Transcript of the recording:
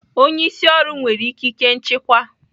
Onye isi ọrụ nwere ikike nchịkwa